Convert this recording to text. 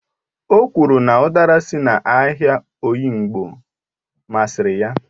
O kwuru na udara si n'ahịa oyingbo masịrị ya